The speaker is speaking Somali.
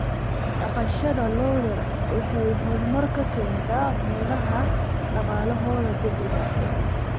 Dhaqashada lo'da lo'da waxay horumar ka keentay meelaha dhaqaalahoodu dib u dhacay.